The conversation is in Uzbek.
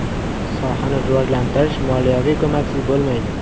Sohani rivojlantirish moliyaviy ko‘maksiz bo‘lmaydi.